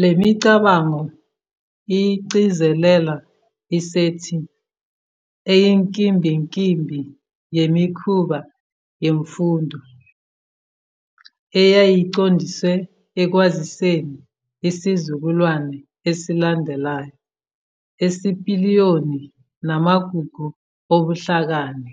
Le micabango igcizelela isethi eyinkimbinkimbi yemikhuba yemfundo, eyayiqondiswe ekwaziseni isizukulwane esilandelayo isipiliyoni namagugu obuhlakani